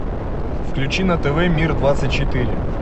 включи на тв мир двадцать четыре